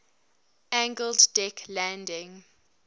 angled deck landing